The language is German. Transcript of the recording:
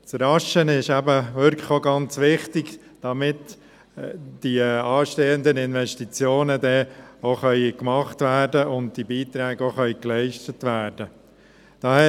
Es ist wichtig, jetzt rasch zu handeln, damit die anstehenden Investitionen getätigt und die Beiträge geleistet werden können.